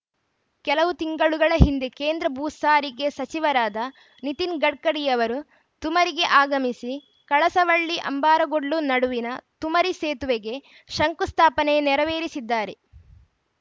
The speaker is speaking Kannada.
ಕೆಲವು ತಿಂಗಳುಗಳ ಹಿಂದೆ ಕೇಂದ್ರ ಭೂಸಾರಿಗೆ ಸಚಿವರಾದ ನಿತಿನ್‌ ಗಡ್ಕರಿಯವರು ತುಮರಿಗೆ ಆಗಮಿಸಿ ಕಳಸವಳ್ಳಿಅಂಬಾರಗೋಡ್ಲು ನಡುವಿನ ತುಮರಿ ಸೇತುವೆಗೆ ಶಂಕುಸ್ಥಾಪನೆ ನೆರವೇರಿಸಿದ್ದಾರೆ